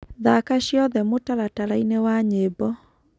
thaka cĩothe mũtarataraĩnĩ wa nyĩmbo